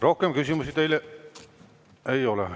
Rohkem küsimusi teile ei ole.